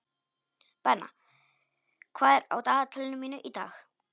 Benna, hvað er á dagatalinu í dag?